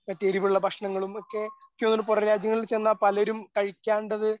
മറ്റ് എരുവുള്ള ഭക്ഷണങ്ങളും ഒക്കെ എനിക്ക് തോന്നുന്നു പുറംരാജ്യങ്ങളിൽ ചെന്നാൽ പലരും കഴിക്കാണ്ടത്